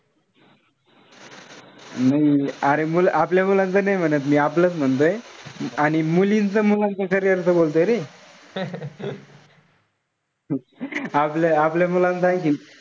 नाई अरे आपल्या मुलांचं नाई म्हणत मी. आपलंच म्हणतोय. आणि मुलींच-मुलांचं carrier च बोलतोय रे. आपल्या आपल्या मुलांचं आणखी,